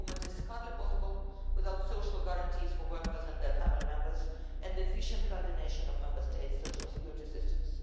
Free movement is hardly possible without social guarantees for workers and their family members, and efficient coordination of Member States' social security systems.